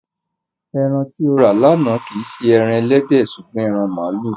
Ẹran tí o rà lánàá kì í ṣe ẹran ẹlẹ́dẹ̀ ṣùgbọ́n ẹran màlúù.